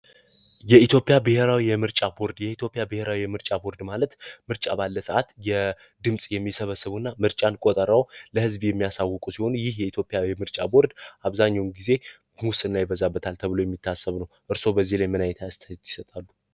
የኢትዮጵያ ብሄራዊ የምርጫ ቦርድ የኢትዮጵያ ብሄራዊ የምርጫ ቦርድ ማለት ምርጫ ባለ ሰአት ድምፅ የሚሰበስቡ እና ምርጫን ቆጥረው ለህዝብ የሚያሳውቁ ሲሆኑ ይህ የኢትዮጵያ የምርጫ ቦርድ አብዛኛውን ጊዜ ሙስና ይበዛበታል ተብሎ የሚታሰብ ነው። እርስዎ በዚህ ላይ ምን አይነት አስተያየት ይሰጣሉ?